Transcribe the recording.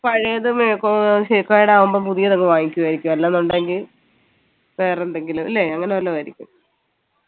പഴയത് കേടാവുമ്പോ പുതിയതങ്ങ് വാങ്ങിക്കുവായിരിക്കും അല്ലെന്നുണ്ടെങ്കി വേറെ എന്തെങ്കിലും ല്ലേ അങ്ങനെ വല്ലതു ആയിരിക്കും